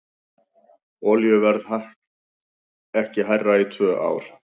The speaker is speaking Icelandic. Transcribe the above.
Olíuverð ekki hærra í tvö ár